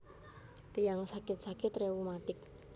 Tiyang sakit sakit reumatik